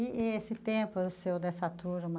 E e esse tempo do senhor, dessa turma?